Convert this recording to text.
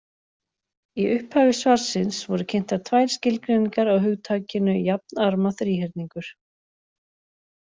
Í upphafi svarsins voru kynntar tvær skilgreiningar á hugtakinu jafnarma þríhyrningur.